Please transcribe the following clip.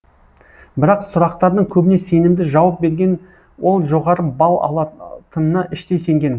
бірақ сұрақтардың көбіне сенімді жауап берген ол жоғары балл алатынына іштей сенген